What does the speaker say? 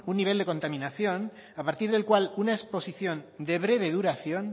un nivel de contaminación a partir del cual una exposición de breve duración